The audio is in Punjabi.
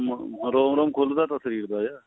ਮ ਰੋਮ ਰੋਮ ਖੁੱਲਦਾ ਤਾਂ ਸਰੀਰ ਦਾ